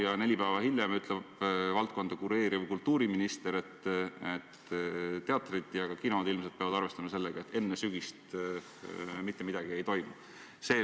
Aga neli päeva hiljem ütles valdkonda kureeriv kultuuriminister, et teatrid ja ka kinod ilmselt peavad arvestama sellega, et enne sügist mitte midagi ei toimu.